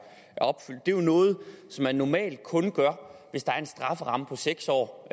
jo noget som man normalt kun gør hvis der er en strafferamme på seks år